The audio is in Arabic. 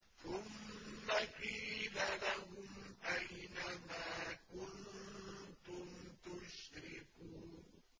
ثُمَّ قِيلَ لَهُمْ أَيْنَ مَا كُنتُمْ تُشْرِكُونَ